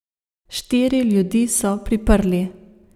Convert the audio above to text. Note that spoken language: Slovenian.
Štiri ljudi so priprli.